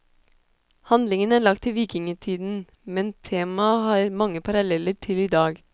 Handlingen er lagt til vikingetiden, men temaet har mange paralleller til i dag.